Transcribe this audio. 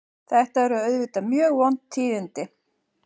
Þetta eru auðvitað mjög vond tíðindi